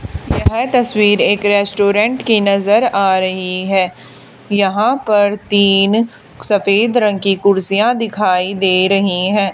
यह तस्वीर एक रेस्टोरेंट की नजर आ रही है यहां पर तीन सफेद रंग की कुर्सियां दिखाई दे रही है।